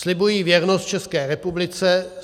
"Slibuji věrnost České republice.